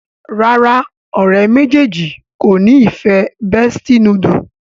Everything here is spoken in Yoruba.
ràrá ọ̀rẹ́ méjèèjì kọ ní ìfẹ bestie noodle